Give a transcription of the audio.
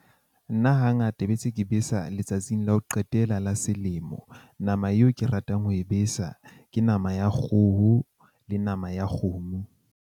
Nna hangata be se ke besa letsatsing la ho qetela la selemo. Nama eo ke ratang ho e besa ke nama ya kgoho le nama ya kgomo.